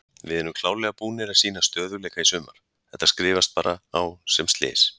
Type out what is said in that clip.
Við erum klárlega búnir að sýna stöðugleika í sumar, þetta skrifast bara á sem slys.